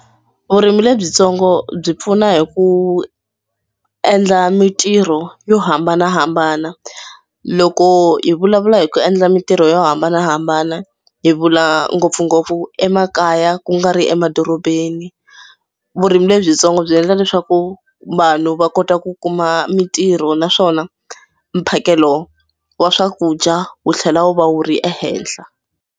Vurimi lebyitsongo byi pfuna hi ku endla mitirho yo hambanahambana. Loko hi vulavula hi ku endla mitirho yo hambanahambana hi vula ngopfungopfu emakaya ku nga ri emadorobeni. Vurimi lebyitsongo byi endla leswaku vanhu va kota ku kuma mitirho naswona mphakelo wa swakudya wu tlhela wu va wu ri ehenhla.